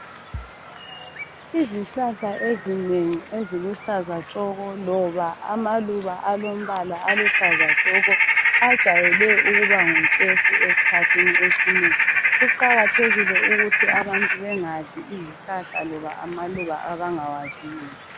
Izihlahla ezinengi eziluhlaza tshoko loba amaluba alombala aluhlazatshoko ajayele ukuba ngutshefu esikhathini esinengi, kuqakathekile ukuthi abantu bangadli izihlahla loba amaluba abangawaziyo.